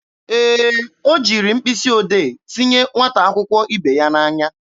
Ee, o jiri mkpịsị odee tinye nwata akwụkwọ ibe ya n'anya.